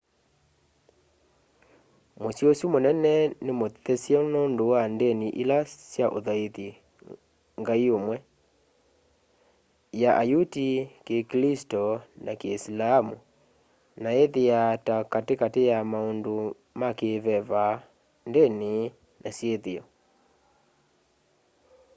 musyi usu munene ni muthesye nundu wa ndni ila sya uthaitha ngai umwe ya ayuti kikilisito na kiisilamu na ithiaa ta kati kati ya maundu ma ki veva ndini na syithio